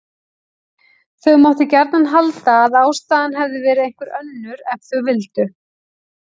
Þau máttu gjarnan halda að ástæðan hefði verið einhver önnur ef þau vildu.